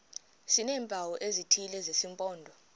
sineempawu ezithile zesimpondo